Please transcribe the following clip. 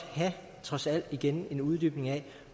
trods alt igen have en uddybning af